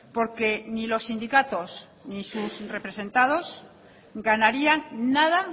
porque ni los sindicatos ni sus representados ganarían nada